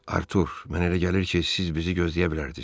Artur, mənə elə gəlir ki, siz bizi gözləyə bilərdiz.